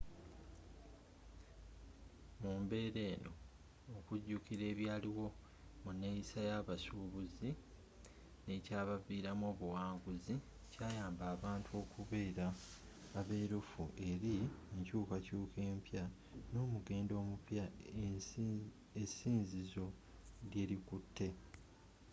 mumbeera eno okujukira ebyaliwo mu neyisa yabasububuzi n'ekyabaviramu obuwanguzi kyayamba abantu okubeera aberufu eri enkyuukakyuuka empya n'omugendo omupya esinzizo lyelikutte